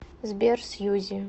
сбер сьюзи